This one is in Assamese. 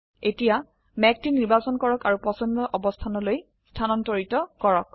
এতিয়া মেঘটি নিৰ্বাচন কৰক আৰু পছন্দ অবস্থানলৈ স্থানান্তৰিত কৰক